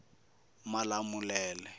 malamulele